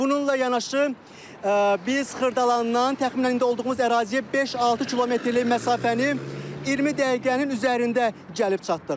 Bununla yanaşı, biz Xırdalandan təxminən indi olduğumuz əraziyə 5-6 kilometrlik məsafəni 20 dəqiqənin üzərində gəlib çatdıq.